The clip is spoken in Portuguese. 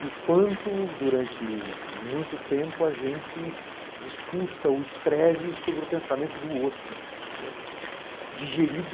E o quanto, durante muito tempo, a gente discursa ou escreve sobre o pensamento do outro, né, digerido